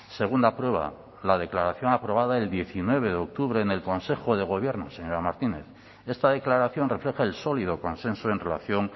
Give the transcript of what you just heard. segunda prueba la declaración aprobada el diecinueve de octubre en el consejo de gobierno señora martínez esta declaración refleja el sólido consenso en relación